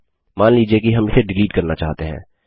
मान लीजिए कि हम इसे डिलीट करना चाहते हैं